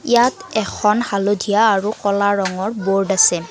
ইয়াত এখন হালধীয়া আৰু ক'লা ৰঙৰ বোৰ্ড আছে।